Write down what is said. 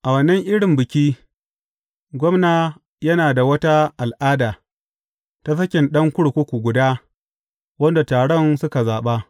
A wannan irin Biki, gwamna yana da wata al’ada, ta sakin ɗan kurkuku guda wanda taron suka zaɓa.